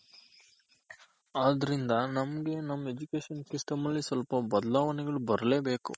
ಆದ್ರಿಂದ ನಮ್ಗೆ ನಮ್ Education system ಅಲ್ಲಿ ಸ್ವಲ್ಪ ಬದಲಾವಣೆಗಳು ಬರ್ಲೆಬೇಕು.